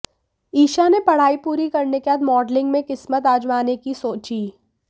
ईशा ने पढ़ाई पूरी करने के बाद मॉडलिंग में किस्मत आजमाने की सोची